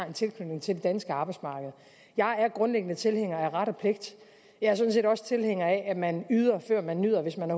en tilknytning til det danske arbejdsmarked jeg er grundlæggende tilhænger af ret og pligt jeg er sådan set også tilhænger af at man yder før man nyder hvis man